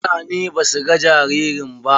Mutanen ba su ga jaririn ba.